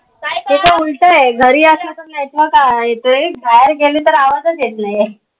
सगळं उलटय घरी असलं तर network अं येतोय बाहेर गेल तर आवाजच येत नाइया